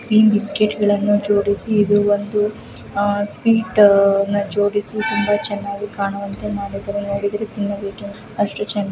ಈ ಬಿಸ್ಕೆಟ್ ಗಳನ್ನೂ ಜೋಡಿಸಿ ಇದು ಒಂದು ಅಹ್‌ ಸ್ವಿಟ ನ್ನ ಜೊಡಿಸಿ ತುಂಬಾ ಚೆನ್ನಾಗಿ ಕಾಣುವಂತೆ ಮಾಡಿದ್ರು ನೊಡಿದ್ರು ತಿನ್ನ ಬೇಕೆನಿಸ ಅಷ್ಟು ಚೆನ್ನಾಗಿ --